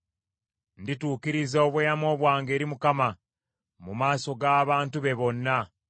Ndituukiriza obweyamo bwange eri Mukama , mu maaso g’abantu be bonna.